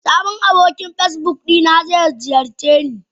Sabon abokin Facebook dina zai ziyarceni.